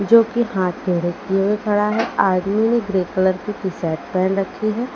जो कि हाथ रखे हुए खड़ा है आदमी ने ग्रे कलर की टी शर्ट पहन रखी है।